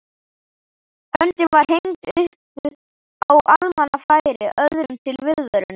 Höndin var hengd upp á almannafæri öðrum til viðvörunar.